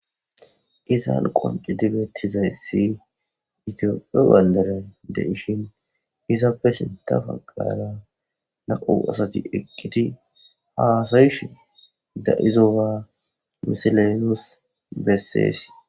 izan qoncu dibettizayssi itiopie baldaray de ishin izappe sinta faggara naqu asati eqqiti haasayish da7izowaa misilenos besseesi